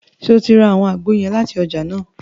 Ṣe o rà awọn àgbo yẹn láti ọjà nàá?